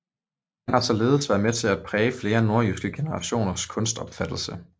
Han har således været med til at præge flere nordjyske generationers kunstopfattelse